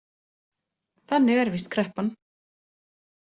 Þannig er víst kreppan.